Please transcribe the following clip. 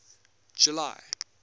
july